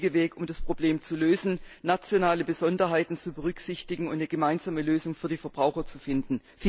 Das ist der richtige Weg, um das Problem zu lösen, nationale Besonderheiten zu berücksichtigen und eine gemeinsame Lösung für die Verbraucher zu finden.